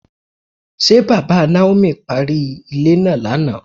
Ṣé bàbá Naomi parí ilé náà lánàá?